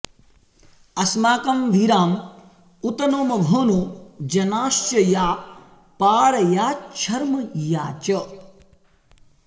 अस्माकं वीराँ उत नो मघोनो जनाँश्च या पारयाच्छर्म या च